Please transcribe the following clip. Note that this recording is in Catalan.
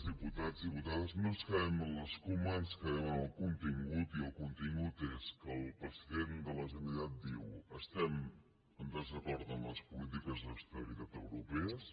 diputats diputades no ens quedem amb l’escuma ens quedem amb el contingut i el contingut és que el president de la generalitat diu estem en desacord amb les polítiques d’austeritat europees